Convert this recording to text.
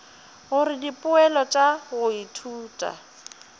gore dipoelo tša go ithuta